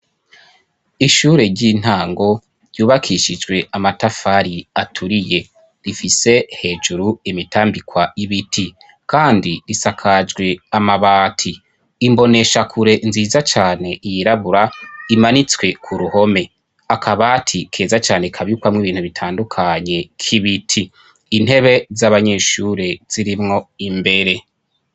Ishure ry'intango ryubakishijwe amatafari aturiye rifise hejuru imitambikwa ibiti kandi risakajwe amabati, imboneshakure nziza cane yirabura imanitswe ku ruhome, akabati keza cane kabikwamwo ibintu bitandukanye k'ibiti, intebe z'abanyeshure zirimwo imbere